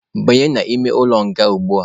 Banye n'ime ụlọ nga ugbua!.